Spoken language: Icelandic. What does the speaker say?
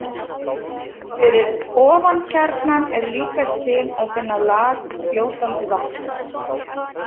Fyrir ofan kjarnann er líkast til að finna lag úr fljótandi vatni.